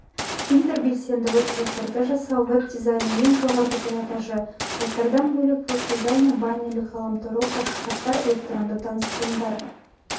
интербелсенді веб-сайттарды жасау веб-дизайнның ең жоғары пилотажы сайттардан бөлек веб-дизайнер баннерлер ғаламторлық ашық хаттар элетронды таныстырылымдар